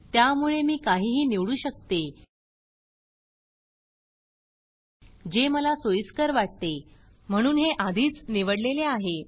त्यामुळे मी काहीही निवडू शकते जे मला सोयीस्कर वाटते म्हणून हे आधीच निवडलेले आहे